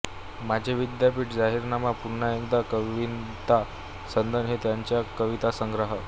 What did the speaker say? माझे विद्यापीठ जाहीरनामा पुन्हा एकदा कविता सनद हे त्यांचे कवितासंग्रह